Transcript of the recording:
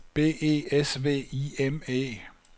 B E S V I M E